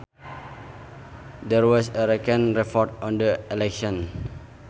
There was a recent report on the election